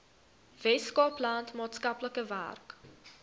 weskaapland maatskaplike werk